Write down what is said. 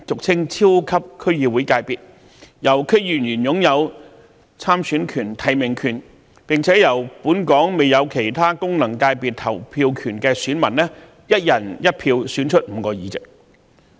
關於後者，所有區議員皆擁有參選權和提名權，並會由本港未有其他功能界別投票權的選民以"一人一票"方式選出5個議席。